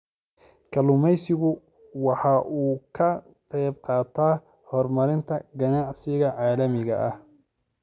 Kalluumaysigu waxa uu ka qayb qaataa horumarinta ganacsiga caalamiga ah.